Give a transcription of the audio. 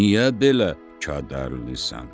Niyə belə kədərlisən?